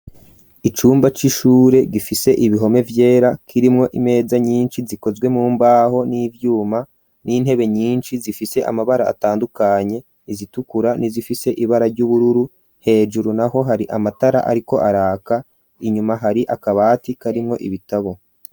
Icumba c'ishure gifise ibihome vyera k'irimwo imeza nyinshi zikozwe mu mbaho n'ivyuma n'intebe nyinshi zifise amabara atandukanye, izitukura n'izifise ibara ry'ubururu hejuru naho hari amatara ariko araka, inyuma hari akabati karimwo ibitabo.